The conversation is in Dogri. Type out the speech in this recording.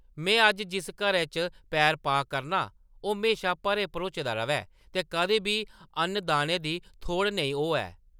में अज्ज जिस घरै च पैर पा करनां, ओह्‌‌ म्हेशां भरे-भरोचे दा र'वै ते कदें बी अन्न-दाने दी थोड़ नेईं होऐ।